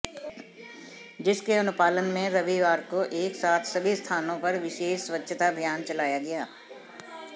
जिसके अनुपालन में रविवार को एक साथ सभी स्थानों पर विशेष स्वच्छता अभियान चलाया गया